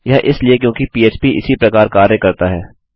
यह इसलिए क्योंकि पह्प इसी प्रकार कार्य करता है